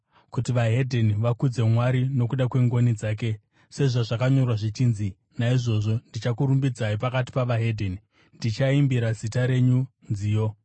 kuti veDzimwe Ndudzi vakudze Mwari nokuda kwengoni dzake, sezvazvakanyorwa zvichinzi: “Naizvozvo ndichakurumbidzai pakati peveDzimwe Ndudzi; ndichaimbira zita renyu nziyo.”